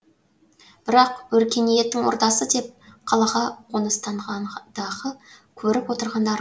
бірақ өркениеттің ордасы деп қалаға қоныстанғандағы көріп отырғандары